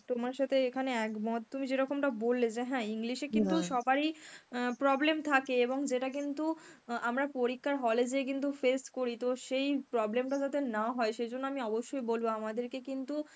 তোমার সাথে এখানে একমত. তুমি যেরকমটা বললে যে হ্যাঁ English এ কিন্তু সবারই অ্যাঁ problem থাকে এবং যেটা কিন্তু অ্যাঁ আমরা পরীক্ষার hall এ যেয়ে কিন্তু face করি তো সেই problem টা যাতে না হয় সেইজন্য আমি অবশ্যই বলবো আমাদের কে কিন্তু